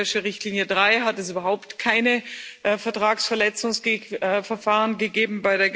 Bei der Geldwäscherichtlinie 3 hat es überhaupt keine Vertragsverletzungsverfahren gegeben.